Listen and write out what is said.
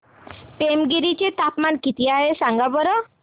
पेमगिरी चे तापमान किती आहे सांगा बरं